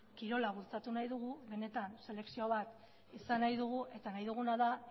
kirola bultzatu nahi dugu benetan selekzio bat izan nahi dugu eta nahi duguna da